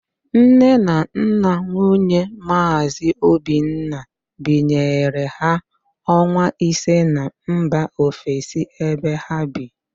Nne na nna nwunye Maazị Obinna binyere ha ọnwa ise na mba ofesi ebe ha bi